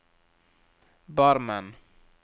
Barmen